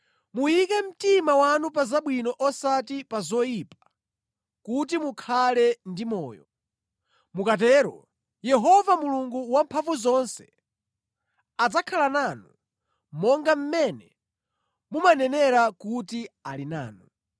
Muyike mtima wanu pa zabwino osati pa zoyipa, kuti mukhale ndi moyo. Mukatero Yehova Mulungu Wamphamvuzonse adzakhala nanu, monga mmene mumanenera kuti ali nanu.